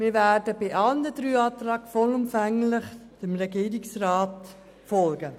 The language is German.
Wir werden bei allen Anträgen vollumfänglich dem Regierungsrat folgen.